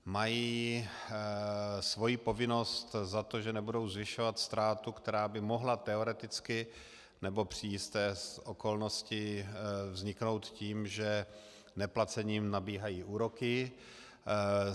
Mají svoji povinnost za to, že nebudou zvyšovat ztrátu, která by mohla teoreticky nebo při jisté okolnosti vzniknout tím, že neplacením nabíhají úroky.